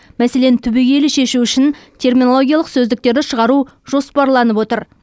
мәселені түбегейлі шешу үшін терминологиялық сөздіктерді шығару жоспарланып отыр